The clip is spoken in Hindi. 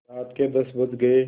रात के दस बज गये